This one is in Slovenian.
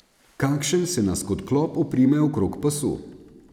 Kakšen se nas kot klop oprime okrog pasu.